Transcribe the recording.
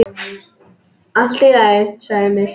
Allt í lagi, sagði Emil.